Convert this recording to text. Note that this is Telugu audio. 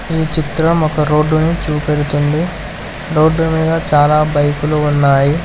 ఈ చిత్రం ఒక రోడ్డుని చూపెడుతుంది రోడ్డు మీద చాలా బైక్లు ఉన్నాయి.